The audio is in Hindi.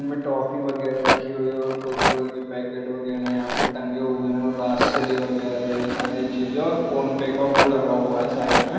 इनमे टॉफी वगेरा रखी हुई हैं और कुरकुरा के पैकेट वगेरा यहाँ पे टंगे हुए हैं। और राजश्री वगेरे ये सारी चीजे और फोन पे का वो लगा हुआ है साइड में|